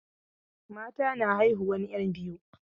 Mata na haihuwan 'yan biyu.